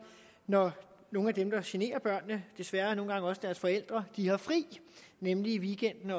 når nogle af dem der generer børnene desværre nogle gange også deres forældre har fri nemlig i weekenden